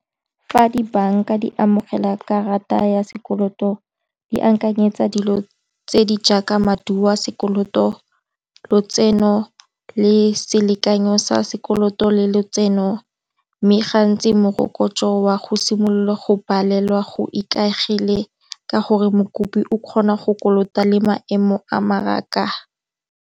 Fa di banka di amogela karata ya sekoloto di akanyetsa dilo tse di jaaka maduo a sekoloto lotseno le selekanyo sa sekoloto le letseno, mme gantsi morokotso wa go simolola go balelwa go ikaegile ka gore mokopi o kgona go kolota le maemo a mmaraka.